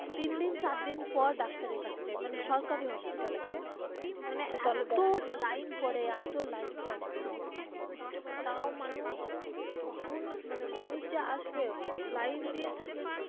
তিন দিন চার দিন পর ডাক্তারের কাছে যায় মানে সরকারি hospital আছে মানে এতো লাইন পরে এতো লাইন পরে তাও মানুষ কখন মানে মানুষ যে আসবে লাইন দিয়ে থাকে.